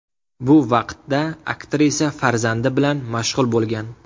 Bu vaqtda aktrisa farzandi bilan mashg‘ul bo‘lgan.